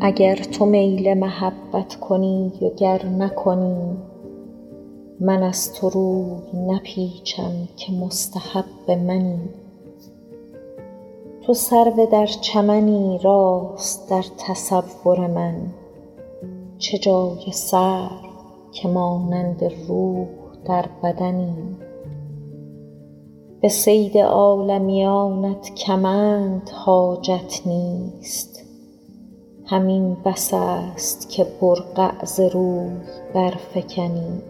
اگر تو میل محبت کنی و گر نکنی من از تو روی نپیچم که مستحب منی چو سرو در چمنی راست در تصور من چه جای سرو که مانند روح در بدنی به صید عالمیانت کمند حاجت نیست همین بس است که برقع ز روی برفکنی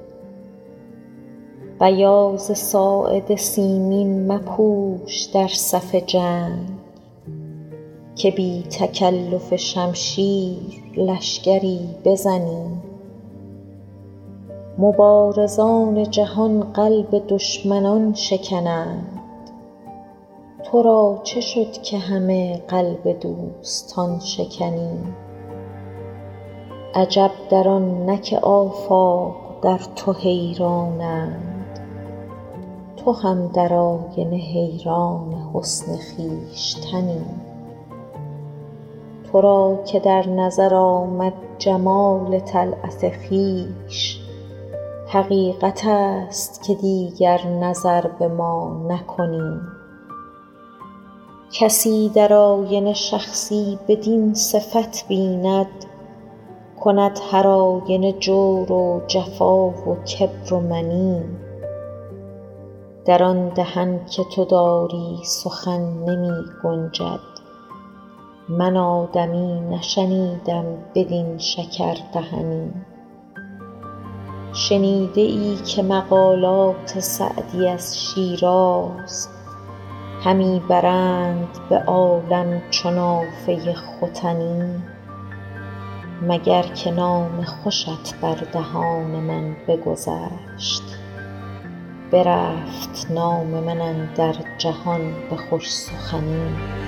بیاض ساعد سیمین مپوش در صف جنگ که بی تکلف شمشیر لشکری بزنی مبارزان جهان قلب دشمنان شکنند تو را چه شد که همه قلب دوستان شکنی عجب در آن نه که آفاق در تو حیرانند تو هم در آینه حیران حسن خویشتنی تو را که در نظر آمد جمال طلعت خویش حقیقت است که دیگر نظر به ما نکنی کسی در آینه شخصی بدین صفت بیند کند هرآینه جور و جفا و کبر و منی در آن دهن که تو داری سخن نمی گنجد من آدمی نشنیدم بدین شکردهنی شنیده ای که مقالات سعدی از شیراز همی برند به عالم چو نافه ختنی مگر که نام خوشت بر دهان من بگذشت برفت نام من اندر جهان به خوش سخنی